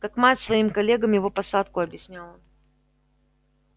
как мать своим коллегам его посадку объясняла